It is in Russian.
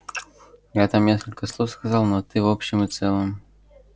я там несколько слов сказал но ты в общем и целом